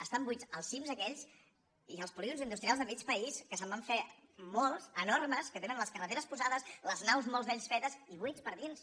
estan buits els cim aquells i els polígons industrials de mig país que se’n van fer molts enormes que tenen les carreteres posades les naus molts d’ells fetes i buits per dins